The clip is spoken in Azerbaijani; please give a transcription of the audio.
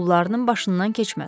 Pularının başından keçməz.